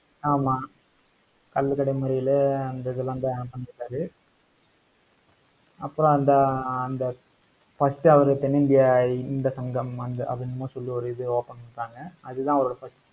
ஆமா கள்ளுக்கடை மறியலு அந்த இதெல்லாம் தான் பண்ணிருக்காரு அப்புறம் அந்த அந்த first அவரு தென்னிந்தியா இந்த சங்கம் அங்க அத எதோ சொல்லி ஒரு இது open பண்றாங்க. அதுதான் அவரோட first